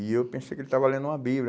E eu pensei que ele estava lendo uma Bíblia.